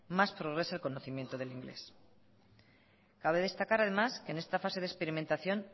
más progresa el conocimiento del inglés cabe destacar además en esta fase es experimentación